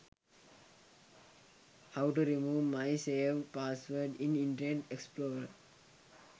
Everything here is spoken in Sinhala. how to remove my save password in internet explorer